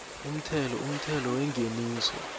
umthelo umthelo wengeniso